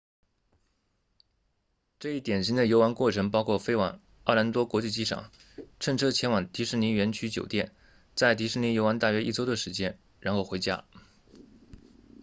这一典型的游玩过程包括飞往奥兰多国际机场乘车前往迪士尼园区酒店在迪士尼游玩大约一周的时间然后回家